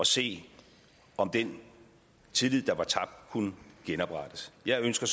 se om den tillid der var tabt kunne genoprettes jeg ønsker